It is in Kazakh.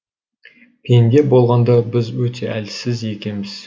пенде болғанда біз өте әлсіз екенбіз